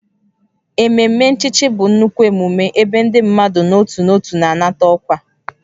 Ememe nchichi bụ nnukwu emume ebe ndị mmadụ n'otu n'otu na-anata ọkwa